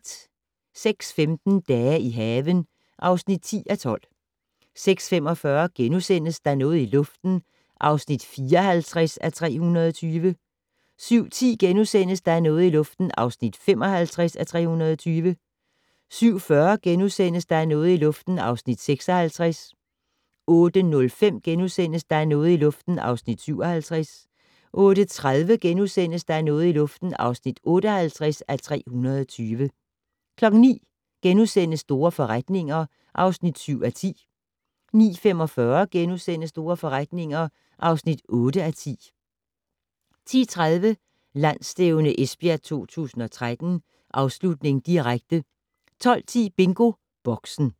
06:15: Dage i haven (10:12) 06:45: Der er noget i luften (54:320)* 07:10: Der er noget i luften (55:320)* 07:40: Der er noget i luften (56:320)* 08:05: Der er noget i luften (57:320)* 08:30: Der er noget i luften (58:320)* 09:00: Store forretninger (7:10)* 09:45: Store forretninger (8:10)* 10:30: Landsstævne Esbjerg 2013: Afslutning, direkte 12:10: BingoBoxen